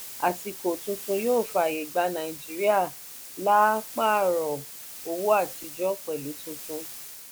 àsìkò tuntun yóò faaye gba nàìjíríà laa paarọ owó àtijọ pẹlú tuntun.